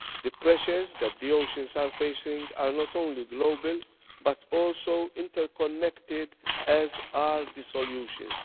The pressures that the oceans are facing are not only global, but also interconnected, as are the solutions.